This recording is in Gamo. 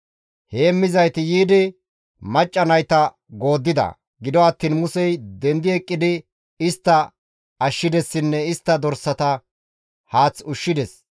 Heemmizayti yiidi macca nayta gooddida; gido attiin Musey dendi eqqidi istta ashshidessinne istta dorsata haath ushshides.